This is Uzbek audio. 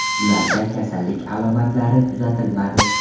Ularda kasallik alomatlari kuzatilmadi.